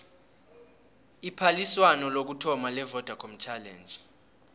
iphaliswano lokuthoma levodacom challenge